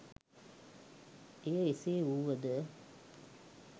එය එසේ වූවද